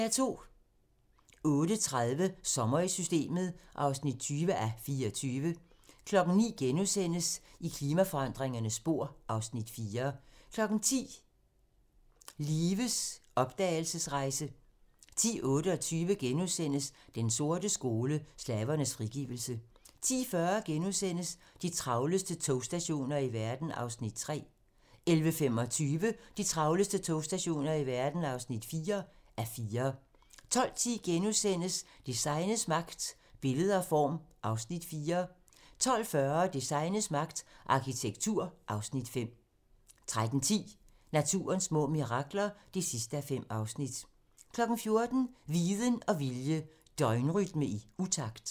08:30: Sommer i Systemet (20:24) 09:00: I klimaforandringernes spor (Afs. 4)* 10:00: Lives opdragelsesrejse (Afs. 1) 10:28: Den sorte skole: Slavernes frigivelse * 10:40: De travleste togstationer i verden (3:4)* 11:25: De travleste togstationer i verden (4:4) 12:10: Designets magt - Billede og form (Afs. 4)* 12:40: Designets magt - Arkitektur (Afs. 5) 13:10: Naturens små mirakler (5:5) 14:00: Viden og vilje - døgnrytme i utakt